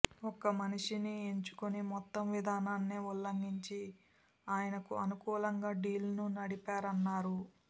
ఒక్క మనిషిని ఎంచుకుని మొత్తం విధానాన్నే ఉల్లంఘించి ఆయనకు అనుకూలంగా డీల్ను నడిపారన్నారు